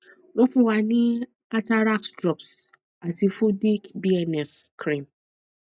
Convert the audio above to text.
won fun wa ní atarax drops ati fudic bnf cream